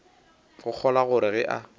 go kgolwa gore ge a